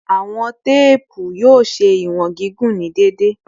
Iwọn teepu yoo ṣe iwọn gigun ni deede